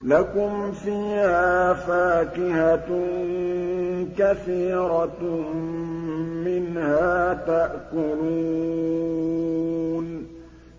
لَكُمْ فِيهَا فَاكِهَةٌ كَثِيرَةٌ مِّنْهَا تَأْكُلُونَ